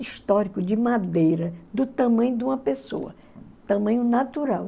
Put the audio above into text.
Históricos, de madeira, do tamanho de uma pessoa, tamanho natural.